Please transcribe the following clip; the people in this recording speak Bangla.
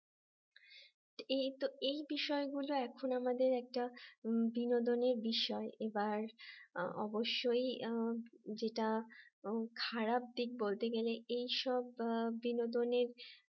এই বিষয়গুলো এখন আমাদের একটা বিনোদনের বিষয় এবার অবশ্যই যেটা খারাপ দিক বলতে গেলে এইসব বিনোদনের